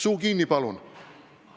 Suu kinni, palun!